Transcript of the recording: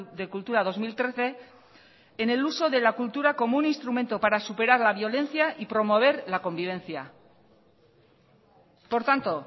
de cultura dos mil trece en el uso de la cultura como un instrumento para superar la violencia y promover la convivencia por tanto